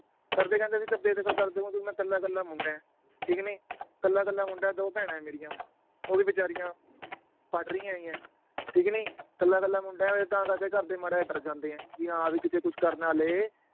ਘਰਦੇ ਕਹਿੰਦੇ ਵੀ ਅਸੀਂ ਤਾਂ ਬੇਦਖਲ ਮੈਂ ਇਕੱਲਾ ਇਕੱਲਾ ਮੁੰਡਾ ਏ, ਠੀਕ ਨੀ ਇਕੱਲਾ ਇਕੱਲਾ ਮੁੰਡਾ ਏ ਦੋ ਭੈਣਾਂ ਏ ਮੇਰੀਆਂ ਉਹ ਵੀ ਬੇਚਾਰੀਆਂ ਪੜ੍ਹ ਰਹੀਆਂ ਹੈਗੀਆਂ, ਠੀਕ ਨੀ ਇਕੱਲਾ ਇਕੱਲਾ ਮੁੰਡਾ ਏ ਤਾਂ ਕਰਕੇ ਘਰਦੇ ਮਾੜਾ ਜੇਹਾ ਡਰ ਜਾਂਦੇ ਏ ਵੀ ਹਾਂ ਵੀ ਕਿਤੇ ਕੁਛ ਕਰ ਨਾ ਲਏ